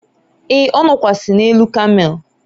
e, ọ nọkwasi n'elu kamel